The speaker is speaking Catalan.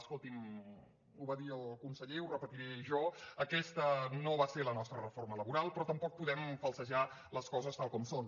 escolti’m ho va dir el conseller ho repetiré jo aquesta no va ser la nostra reforma laboral però tampoc podem falsejar les coses tal com són